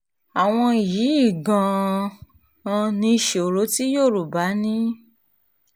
àwọn yìí gan-an ni ìṣòro tí yorùbá ní